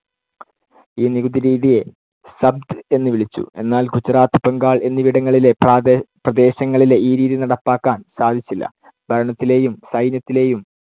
ഈ നികുതിരീതിയെ സബ്ത് എന്ന് വിളിച്ചു. എന്നാൽ ഗുജറാത്ത് ബംഗാൾ എന്നിവിടങ്ങളിലെ പ്രാദേ~ പ്രദേശങ്ങളിലെ ഈ രീതി നടപ്പാക്കാൻ സാധിച്ചില്ല. ഭരണത്തിലേയും സൈന്യത്തിലേയും